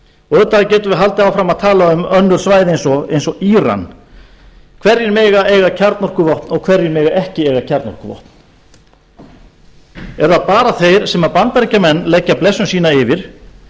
auðvitað getum við haldið áfram að tala um önnur svæði eins og íran hverjir mega eiga kjarnorkuvopn og hverjir mega ekki eiga kjarnorkuvopn eru það bara þeir sem bandaríkjamenn leggja blessun sína yfir